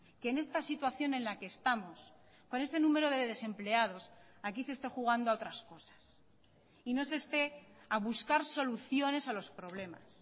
que en esta situación en la que estamos con ese número de desempleados aquí se esté jugando a otras cosas y no se esté a buscar soluciones a los problemas